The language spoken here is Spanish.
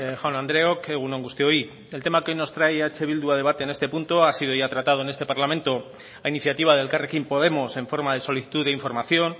jaun andreok egun on guztioi el tema que hoy nos trae eh bildu a debate en este punto ha sido ya tratado en este parlamento a iniciativa de elkarrekin podemos en forma de solicitud de información